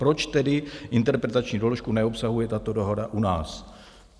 Proč tedy interpretační doložku neobsahuje tato dohoda u nás?